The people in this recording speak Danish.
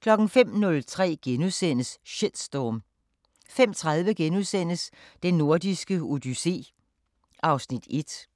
05:03: Shitstorm * 05:30: Den Nordiske Odyssé (Afs. 1)*